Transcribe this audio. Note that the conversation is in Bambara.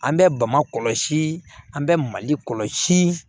An bɛ bamakɔ kɔlɔsi an bɛ mali kɔlɔsi